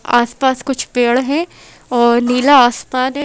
आसपास कुछ पेड़ हैं और नीला आसमान है।